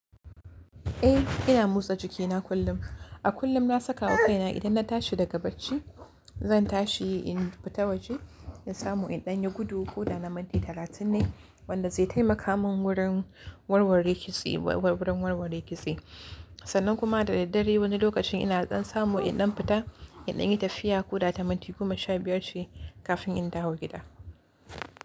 Eh ina motsa jikina kullum. A kullum na saka wa kaina idan na tashi daga bacci, zan tashi in fita waje da samu in ɗan yi gudu ko da na minti talatin ne wanda zai taimaka min wurin warware kitse, wurin warware kitse. Sannan kuma da daddare wani lokacin ina ɗan samu in ɗan fita, in ɗan yi tafiya ko da ta minti goma sha biyar ce kafin in dawo gida.